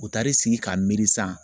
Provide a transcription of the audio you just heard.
U taar'i sigi k'a miiri sisan